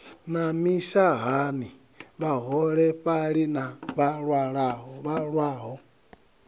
na mishahani vhaholefhali na vhalwaho